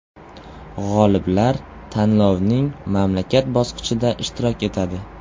G‘oliblar tanlovning mamlakat bosqichida ishtirok etadi.